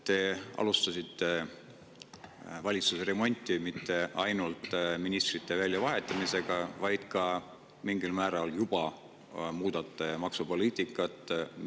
Te alustasite valitsusremonti mitte ainult ministrite väljavahetamisega, vaid ka mingil määral juba muudate maksupoliitikat.